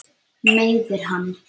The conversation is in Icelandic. Meiðir hann.